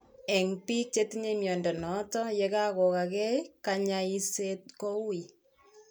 En Biik chetinye mnyondo noton yekagogaa gee, kanyaiset kouu